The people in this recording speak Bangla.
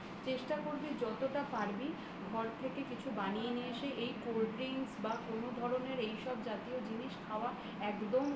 চেষ্টা করবি যতটা পারবি ঘর থেকে কিছু বানিয়ে নিয়ে এসে বা কোন ধরনের এই জাতীয় জিনিস হাওয়া একদম